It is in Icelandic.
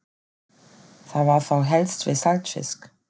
Það var þá helst við saltfisk.